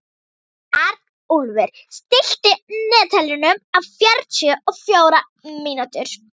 Arnúlfur, stilltu niðurteljara á fjörutíu og fjórar mínútur.